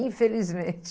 Infelizmente.